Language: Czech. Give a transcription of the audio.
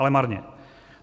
Ale marně.